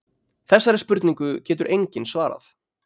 Þessari spurningu getur enginn svarað.